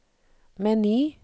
meny